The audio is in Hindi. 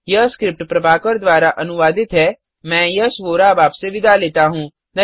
यह स्क्रिप्ट प्रभाकर द्वारा अनुवादित है मैं यश वोरा अब आपसे विदा लेता हूँ